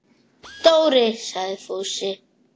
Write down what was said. Dóri! sagði Fúsi.